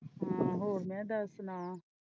ਹਾਂ ਹੋਰ ਮੈ ਦੱਸ ਸੁਣਾ।